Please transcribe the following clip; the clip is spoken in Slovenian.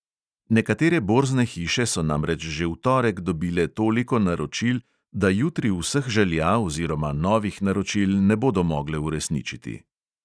Nekatere borzne hiše so namreč že v torek dobile toliko naročil, da jutri vseh želja oziroma novih naročil ne bodo mogle uresničiti.